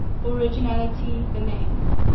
originally the name